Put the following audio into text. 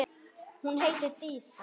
Hún heitir Dísa.